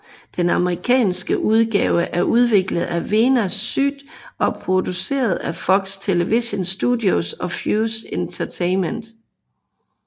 Den amerikanske udgave er udviklet af Veena Sud og produceret af Fox Television Studios og Fuse Entertainment